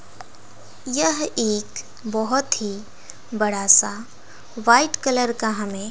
यह एक बहोत ही बड़ा सा व्हाइट कलर का हमें --